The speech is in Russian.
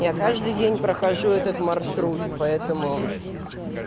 я каждый день прохожу этот маршрут по этому